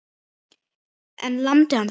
En lamdi hann þig?